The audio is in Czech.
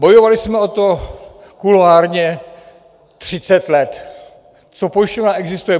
Bojovali jsme o to kuloárně třicet let, co pojišťovna existuje.